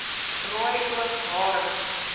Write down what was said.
rooi oog harings